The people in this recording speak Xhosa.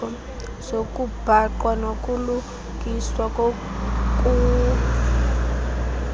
zokubhaqwa nokulungiswa kokuvuza